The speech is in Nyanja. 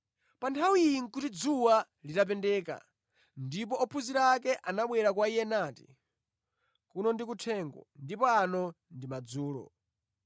Pa nthawi iyi nʼkuti dzuwa litapendeka, ndipo ophunzira ake anabwera kwa Iye nati, “Kuno ndi kuthengo, ndipo ano ndi madzulo.